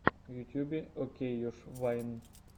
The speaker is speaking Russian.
в ютюбе окейюш вайн